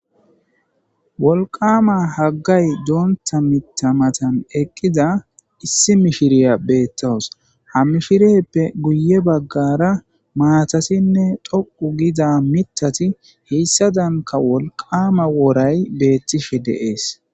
Wolqama haggay doonta mitamatan eqqiza issi mishiriya beettawus hamishireppe guye baggara maatasinne doqu gida mitati heyssa danka wolqama woray beettishe deees.